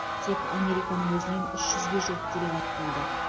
тек американың өзінен үш жүзге жуық делегат келді